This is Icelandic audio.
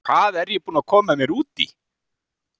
Hvað er ég búinn að koma mér út í??